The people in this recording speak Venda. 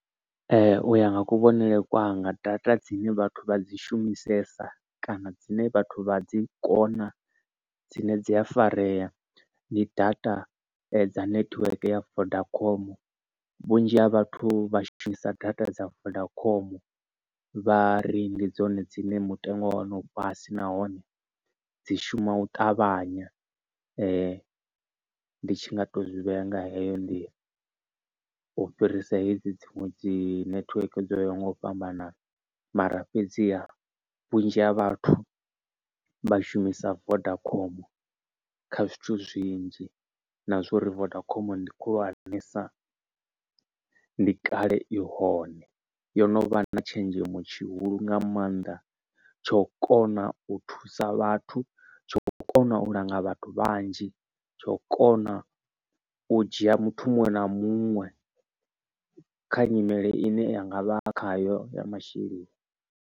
Ee u ya nga kuvhonele kwanga data dzine vhathu vha dzi shumisesa kana dzine vhathu vha dzi kona dzine dzi a farea ndi data dza network ya vodacom. Vhunzhi ha vhathu vha shumisa data dza vodacom vhari ndi dzone dzine mutengo wa hone u fhasi nahone dzi shuma u ṱavhanya. Ndi tshi nga to zwi vhea nga heyo nḓila u fhirisa hedzi dziṅwe dzi nethiweke dzo ya ho nga u fhambanana, mara fhedzi vhunzhi ha vhathu vha shumisa Vodacom kha zwithu zwinzhi na zwori vodacom ndi khulwanesa ndi kale i hone yo no vha na tshenzhemo tshihulu nga maanḓa. Tsho kona u thusa vhathu tsho kona u langa vhathu vhanzhi, tsho kona u dzhia muthu muṅwe na muṅwe kha nyimele ine yanga vha khayo ya masheleni.